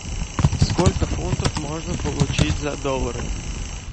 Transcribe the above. сколько фунтов можно получить за доллары